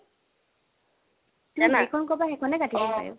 তুমি যিকণ কোৱা সেইকণেই কাটিব পাৰিম